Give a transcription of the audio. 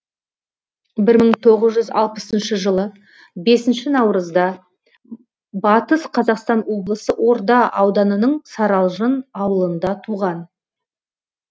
бір мың тоғыз жүз алпысыншы жылы бесінші наурызда батыс қазақстан облысы орда ауданының саралжын ауылында туған